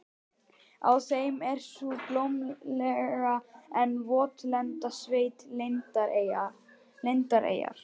Á þeim er sú blómlega en votlenda sveit, Landeyjar.